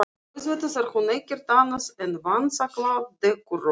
Auðvitað er hún ekkert annað en vanþakklát dekurrófa.